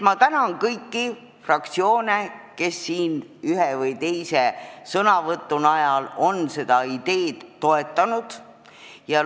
Ma tänan kõiki fraktsioone, kes ühes või teises sõnavõtus on seda ideed toetanud!